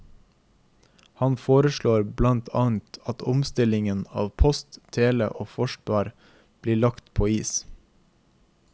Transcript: Han foreslår blant annet at omstillingen av post, tele og forsvar blir lagt på is.